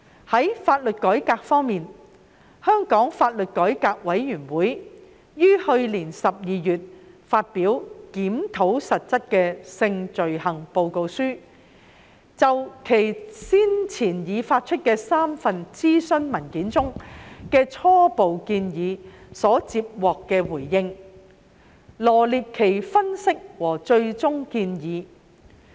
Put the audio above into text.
在法律改革方面，香港法律改革委員會於去年12月發表《檢討實質的性罪行》報告書，就其先前發出的3份諮詢文件中的初步建議所接獲的回應，臚列分析和最終建議。